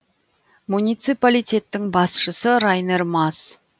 муниципалитеттің басшысы райнер мас